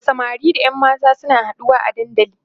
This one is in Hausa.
da samari da ƴan mata suna haɗuwa a dandali